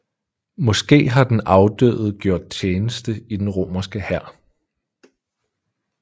Måske har den afdøde gjort tjeneste i den romerske hær